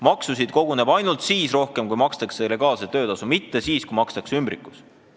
Maksusid koguneb ainult siis rohkem, kui makstakse legaalset töötasu, mitte siis, kui makstakse ümbrikupalka.